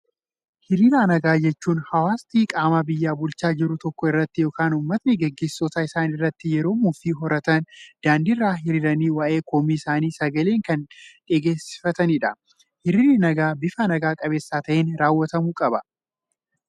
Hiriira nagaa jechuun, hawaasti qaama biyya bulchaa jiru tokko irratti yookaan uummatni gaggeessitoota isaanii irratti yeroo mufii horatan, daandii irra hiriiranii waa'ee komii isaanii sagaleen kan dhageessifatanidha. Hiriirri nagaa bifa naga qabeessa ta'een raawwatamuu qaba.